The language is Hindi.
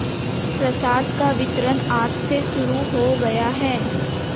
प्रसाद का वितरण आज से शुरू हो गया है